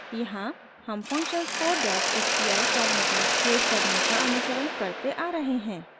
यहाँ हम फंक्शन्स को sci फॉर्मेट में सेव करने का अनुसरण करते आ रहे हैं